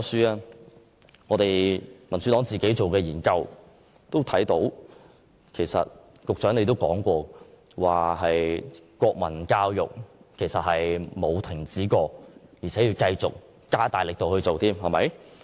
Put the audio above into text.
根據我所屬民主黨進行的研究，其實局長你亦曾指出，國民教育根本沒有停止過，反而現正繼續加大力度推行。